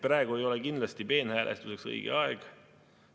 Praegu ei ole kindlasti peenhäälestuseks õige aeg.